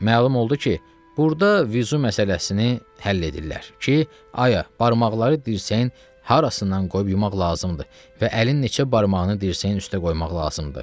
Məlum oldu ki, burda vüzü məsələsini həll edirlər ki, ayə barmaqları dirsəyin harasından qoyub yumaq lazımdır və əlin neçə barmağını dirsəyin üstə qoymaq lazımdır.